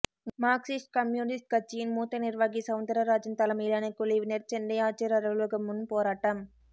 Marxist communist கட்சியின் மூத்த நிர்வாகி சவுந்தரராஜன் தலைமையிலான குழுவினர் சென்னை ஆட்சியர் அலுவலகம் முன் போராட்டம்